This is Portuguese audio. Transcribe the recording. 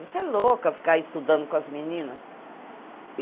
Você é louca ficar ai estudando com as meninas?